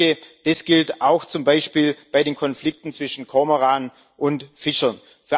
Ich denke, das gilt auch zum Beispiel bei den Konflikten zwischen Kormoran und Fischern.